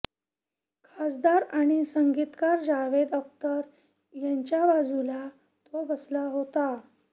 खासदार आणि संगीतकार जावेद अख्तर यांच्याबाजूला तो बसला होता